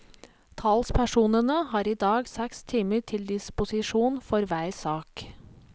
Talspersonene har i dag seks timer til disposisjon for hver sak.